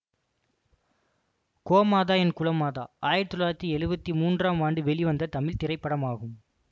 கோமாதா என் குலமாதா ஆயிரத்தி தொள்ளாயிரத்தி எழுவத்தி மூன்றாம் ஆண்டு வெளிவந்த தமிழ் திரைப்படமாகும்